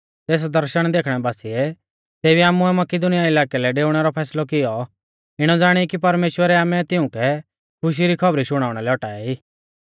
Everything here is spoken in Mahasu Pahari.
तेस दर्शण देखणै बासिऐ तेबी आमुऐ मकिदुनीया इलाकै लै डेउणै रौ फैसलौ कियौ इणौ ज़ाणीयौ कि परमेश्‍वरै आमै तिउंकै खुशी री खौबरी शुणाउणा लै औटाऐ ई